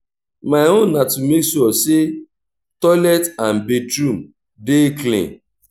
my own na to mek sure say toilet and bathroom dey clean